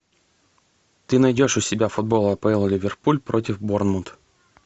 ты найдешь у себя футбол апл ливерпуль против борнмут